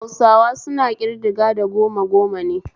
Hausawa suna kridaga da goma goma ne